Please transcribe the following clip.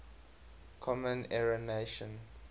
common era notation